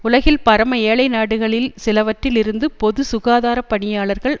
உலகில் பரம ஏழை நாடுகளில் சிலவற்றில் இருந்து பொது சுகாதார பணியாளர்கள்